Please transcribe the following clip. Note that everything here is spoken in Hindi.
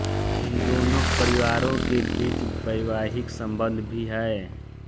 इन दोनों परिवारों के बीच वैवाहिक सम्बन्ध भी हैं